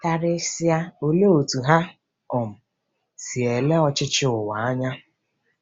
Karịsịa, olee otú ha um si ele ọchịchị ụwa anya? '